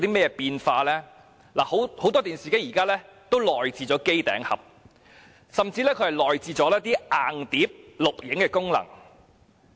現時，很多電視機已內置機頂盒，甚至已內置硬碟錄影功能。